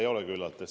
Ei ole küllalt.